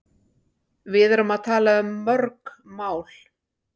Við erum að tala um mörg mál.